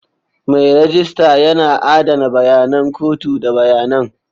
Mai rejista yana adana bayanan kotu da bayanan.